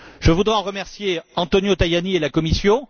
Je voudrais remercier Antonio Tajani et la Commission.